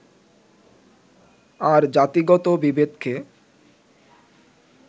আর জাতিগত বিভেদকে